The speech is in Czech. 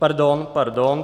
Pardon, pardon.